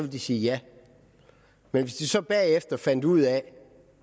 de sige ja men hvis de så bagefter finder ud af